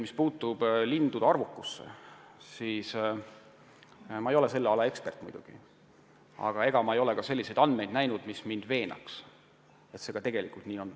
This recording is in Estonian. Mis puutub lindude arvukusse, siis ma ei ole selle ala ekspert, aga ma ei ole ka selliseid andmeid näinud, mis veenaks mind, et lindude arvukusega tegelikult probleeme on.